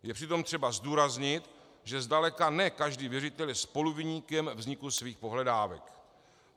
Je přitom třeba zdůraznit, že zdaleka ne každý věřitel je spoluviníkem vzniku svých pohledávek.